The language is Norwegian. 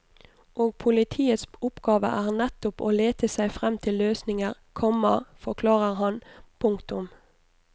Og politiets oppgave er nettopp å lete seg frem til løsninger, komma forklarer han. punktum